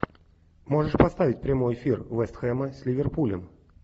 можешь поставить прямой эфир вест хэма с ливерпулем